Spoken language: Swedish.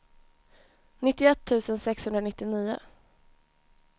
nittioett tusen sexhundranittionio